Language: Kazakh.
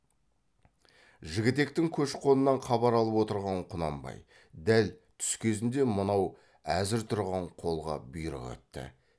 жігітектің көш қонынан хабар алып отырған құнанбай дәл түс кезінде мынау әзір тұрған қолға бұйрық етті